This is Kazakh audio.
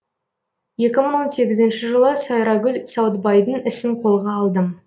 екі мың он сегізінші жылы сайрагүл сауытбайдың ісін қолға алдым